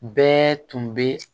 Bɛɛ tun bɛ